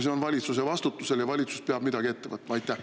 See on valitsuse vastutusel ja valitsus peab midagi ette võtma!